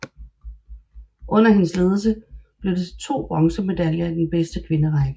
Under hendes ledelse blev det til 2 bronzemedaljer i den bedste kvinderække